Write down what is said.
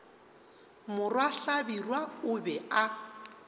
morwa hlabirwa o be a